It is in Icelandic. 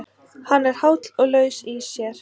Hann er háll og laus í sér.